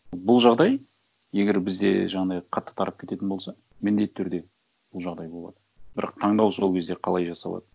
бұл жағдай егер бізде жаңағындай қатты тарап кететін болса міндетті түрде бұл жағдай болады бірақ таңдау сол кезде қалай жасалады